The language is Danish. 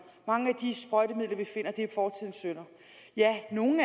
mange af de sprøjtemidler vi finder er fortidens synder ja nogle